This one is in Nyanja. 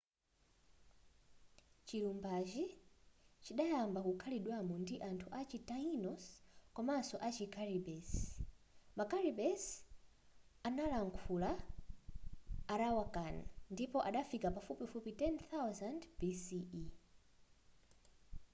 chilumbachi chidayamba kukhalidwamo ndi anthu achi taínos komanso ma caribes. ma caribes ankalankhula arawakan ndipo adafika pafupifupi 10,000 bce